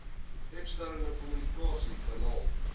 eksterne kommunikasie kanale